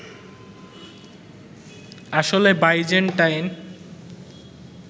আসলে বাইজ্যান্টাইন